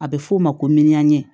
A bɛ f'o ma ko miliyari